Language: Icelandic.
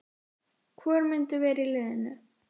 Hvor myndi vera í liðinu?